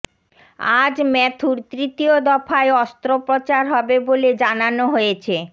আজ ম্যাথুর তৃতীয় দফায় অস্ত্রোপচার হবে বলে জানানো হয়েছে